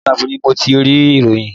Orí whatsapp ni mo ti rí ìròyìn